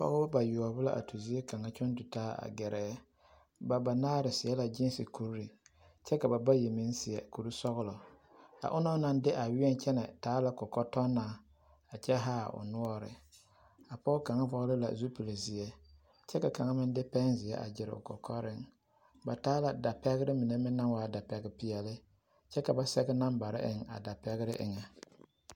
Pɔgebɔ bayoɔbo la a tu zie kaŋa kyɔŋ tu taa a gɛrɛ ba banaare seɛ la giisi kuri kyɛ ka ba bayi meŋ seɛ kuri sɔgelɔ a onaŋ naŋ de a weɛ kyɛnɛ taa la kɔkɔtɔnnaa a kyɛ haa o noɔre, a pɔge kaŋa vɔgele la zupili zeɛ kyɛ ka kaŋa meŋ de pɛnzeɛ a gyere o kɔkɔreŋ ba taa la dapɛgere mine meŋ naŋ waa dapɛge peɛle kyɛ ka ba sɛge nambare eŋ a dapɛgere eŋɛ.